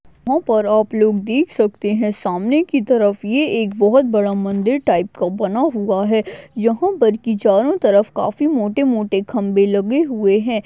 ऊपर आप लोग देख सकते हैं सामने की तरफ ये एक बहुत बड़ा मंदिर टाइप का बना हुआ है यहां पर की चारों तरफ काफी मोटे-मोटे खंबे लगे हुए हैं।